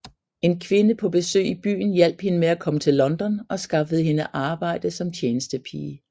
En kvinde på besøg i byen hjalp hende med at komme til London og skaffede hende arbejde som tjenestepige